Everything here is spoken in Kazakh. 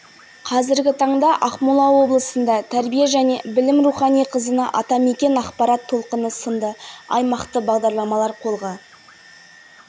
ақан біржандардың ізбасарлары жас айтыскер ақындарды тәрбиелеп жыл сайын облыс көлемінде бұрын болмаған оқушылар айтысын ұйымдастырып